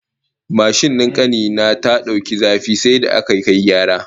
Mashin din kani na ta dauki zafi sai da aka kai gyara